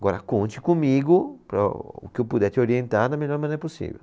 Agora conte comigo para o que eu puder te orientar da melhor maneira possível.